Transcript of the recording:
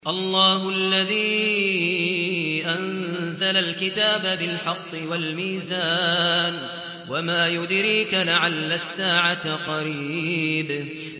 اللَّهُ الَّذِي أَنزَلَ الْكِتَابَ بِالْحَقِّ وَالْمِيزَانَ ۗ وَمَا يُدْرِيكَ لَعَلَّ السَّاعَةَ قَرِيبٌ